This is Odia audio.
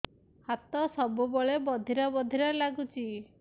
ହାତ ସବୁବେଳେ ବଧିରା ବଧିରା ଲାଗୁଚି